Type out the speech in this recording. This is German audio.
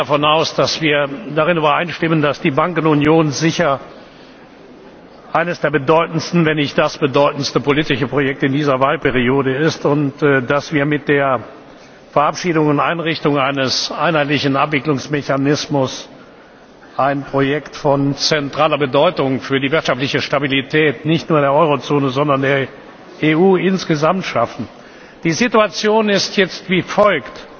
Ich gehe davon aus, dass wir darin übereinstimmen, dass die Bankenunion sicher eines der bedeutendsten, wenn nicht das bedeutendste politische Projekt in dieser Wahlperiode ist und dass wir mit der Verabschiedung und Einrichtung eines einheitlichen Abwicklungsmechanismus ein Projekt von zentraler Bedeutung für die wirtschaftliche Stabilität nicht nur in der Eurozone, sondern in der EU insgesamt schaffen. Die Situation ist jetzt wie folgt